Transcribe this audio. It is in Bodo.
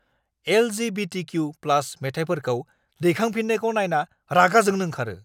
LGBTQ + मोनथायफोरखौ दैखांफिन्नायखौ नायना रागा जोंनो ओंखारो।